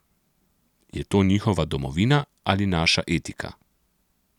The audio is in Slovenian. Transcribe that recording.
Je to njihova domovina ali naša etika?